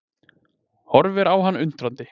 Horfir á hann undrandi.